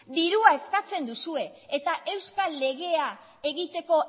dirua eskatzen duzue eta euskal legea egiteko